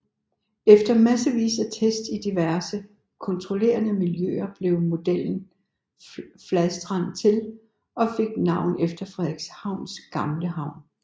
Efter massevis af tests i diverse kontrollerede miljøer blev modellen Fladstrand til og fik navn efter Frederikshavns gamle navn